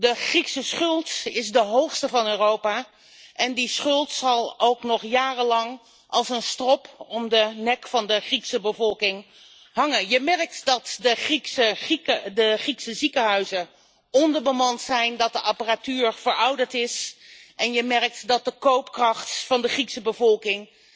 De Griekse schuld is de hoogste in Europa en die schuld zal nog jarenlang als een strop om de nek van de Griekse bevolking hangen. Je merkt dat de Griekse ziekenhuizen onderbemand zijn, dat de apparatuur verouderd is en dat de koopkracht van de Griekse bevolking